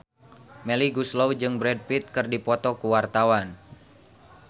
Melly Goeslaw jeung Brad Pitt keur dipoto ku wartawan